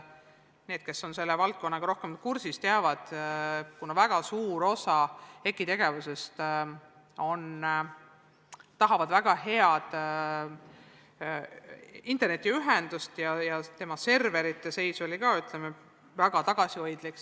Need, kes on selle valdkonnaga rohkem kursis, teavad, et suur osa EKI tegevusest nõuab väga head internetiühendust, aga sealne serverite seis oli seni väga tagasihoidlik.